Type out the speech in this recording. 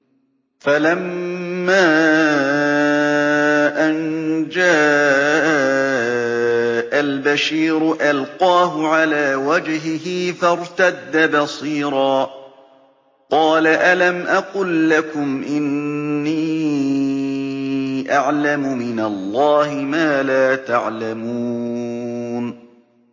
فَلَمَّا أَن جَاءَ الْبَشِيرُ أَلْقَاهُ عَلَىٰ وَجْهِهِ فَارْتَدَّ بَصِيرًا ۖ قَالَ أَلَمْ أَقُل لَّكُمْ إِنِّي أَعْلَمُ مِنَ اللَّهِ مَا لَا تَعْلَمُونَ